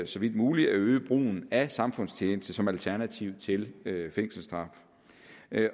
så vidt muligt at øge brugen af samfundstjeneste som alternativ til fængselsstraf